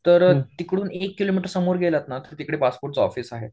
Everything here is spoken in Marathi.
तर तिकडून एक किलोमीटर समोर गेला तर तिकडे पासपोर्टचं ऑफिस आहे.